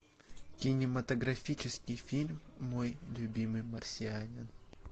кинематографический фильм мой любимый марсианин